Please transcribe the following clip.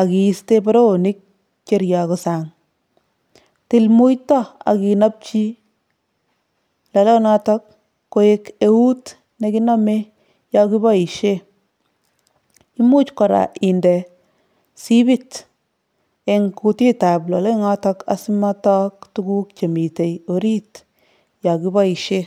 ak iiste boroonik che ryoku sang, til muito ak inapchi lolonoto koek eut nekinome yo kiboishe, imuch kora inde sipit eng kuutitab lolonoto asimotok tuguk chemite orit yo kiboisie.